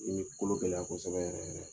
n'i m'i kolo gɛlɛya kosɛbɛ yɛrɛ yɛrɛ